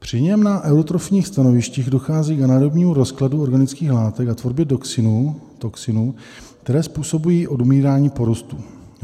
Při něm na eutrofních stanovištích dochází k anaerobnímu rozkladu organických látek a tvorbě toxinů, které způsobují odumírání porostů.